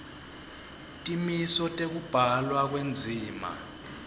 timiso tekubhalwa kwendzima